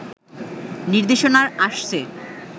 নির্দেশনা আসছে